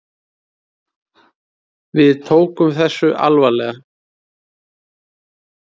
Við tókum þessu alvarlega.